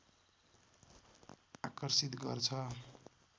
आकर्षित गर्छ